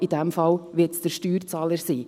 In diesem Fall wird es der Steuerzahler sein.